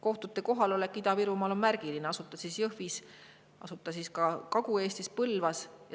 Kohtu kohalolek Ida-Virumaal on märgiline, asub ta siis Jõhvis või Kagu-Eestis Põlvas.